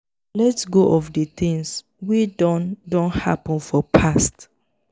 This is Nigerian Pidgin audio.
let go of di things wey don don happen for past